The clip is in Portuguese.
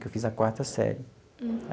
Que eu fiz a quarta série.